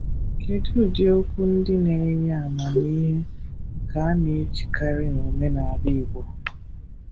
Kedu ụdị okwu ndị na-enye amamihe nke a na-ejikarị n'omenala Igbo?